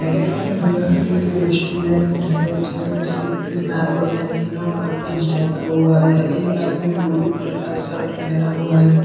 यह एक रेस्टुरेंट है जिसमे से तीन आदमी है तीनो का फेस ढका हुआ है एक आदमी ब्लू कलर का शर्ट पहना हुआ है।